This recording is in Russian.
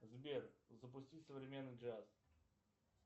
сбер запусти современный джаз